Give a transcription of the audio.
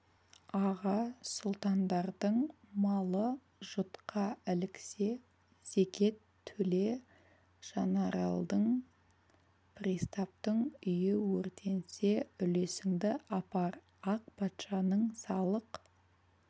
аға сұлтандардың малы жұтқа іліксе зекет төле жанаралдың пристаптың үйі өртенсе үлесіңді апар ақ патшаның салық